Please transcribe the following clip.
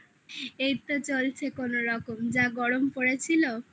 এইতো চলছে কোনরকম। যা গরম পড়েছিল I